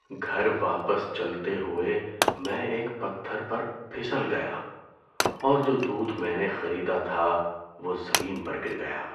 گھر واپس چلتے ہوئے، میں ایک پتھر پر پھسل گیا اور جو دودھ میں نے خریدا تھا وہ زمین پر گر گیا۔